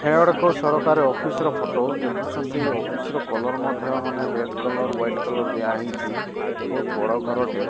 ହେଇଟା ଗୋଟେ କୋଉ ସରକାର ଅଫିସ୍ ର ଫଟ ଦେଖୁଛନ୍ତି ଅଫିସ୍ ର କଲର୍ ମଧ୍ୟ ମାନେ ରେଡ କଲର୍ ହ୍ୱୋଇଟ କଲର୍ ଦିଆହେଇଛି ବହୁତ୍ ବଡ ଘରଟେ।